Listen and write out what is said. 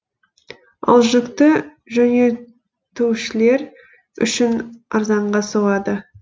ал жүкті жөнелтушілер үшін арзанға соғады